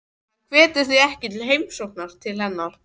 Hann hvetur því ekki til heimsókna til hennar.